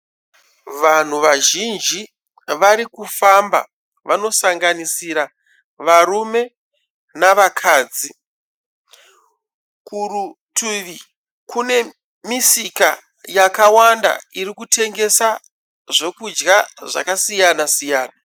Vanhu vazhinji varikufamba vanosanganisira varume navakadzi. Kurutivi kune misika yakawanda iri kutengesa zvokudya zvakasiyana siyana.